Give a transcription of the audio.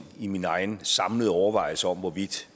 i mine egen samlede overvejelser om hvorvidt